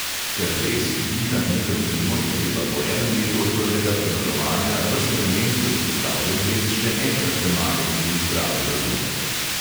Ker les diha z mikroklimo, je treba po enem letu od prvega premazovanja ves vremensko izpostavljen les še enkrat premazati z izbrano lazuro.